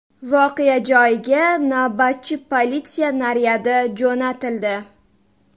Voqea joyiga navbatchi politsiya naryadi jo‘natildi.